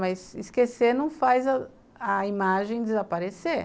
Mas esquecer não faz a imagem desaparecer.